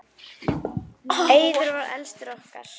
Eiður var elstur okkar.